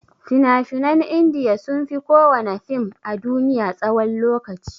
Fina-finan india sunfi kowana fim a duniya tsawan lokaci.